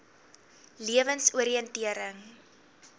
lewensoriëntering